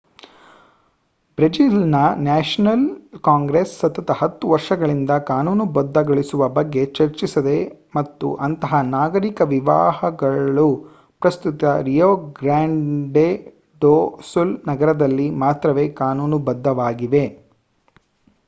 ಬ್ರೆಜಿಲ್‌ನ National Congress ಸತತ 10 ವರ್ಷಗಳಿಂದ ಕಾನೂನುಬದ್ಧಗೊಳಿಸುವ ಬಗ್ಗೆ ಚರ್ಚಿಸಿದೆ ಮತ್ತು ಅಂತಹ ನಾಗರಿಕ ವಿವಾಹಗಳು ಪ್ರಸ್ತುತ ರಿಯೊ ಗ್ರಾಂಡೆ ಡೊ ಸುಲ್ ನಗರದಲ್ಲಿ ಮಾತ್ರವೇ ಕಾನೂನುಬದ್ಧವಾಗಿವೆ